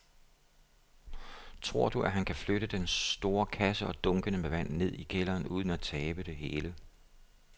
Tror du, at han kan flytte den store kasse og dunkene med vand ned i kælderen uden at tabe det hele?